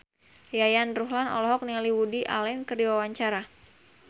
Yayan Ruhlan olohok ningali Woody Allen keur diwawancara